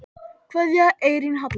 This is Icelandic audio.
Kveðja, Eyrún Halla.